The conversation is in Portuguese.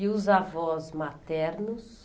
E os avós maternos?